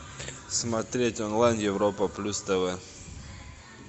смотреть онлайн европа плюс тв